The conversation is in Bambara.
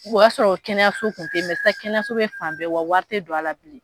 O y'a sɔrɔ kɛnɛyaso tun tɛ sisan kɛnɛyaso bɛ fan bɛɛ wa wari tɛ don a la bilen